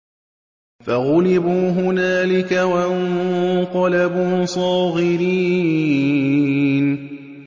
فَغُلِبُوا هُنَالِكَ وَانقَلَبُوا صَاغِرِينَ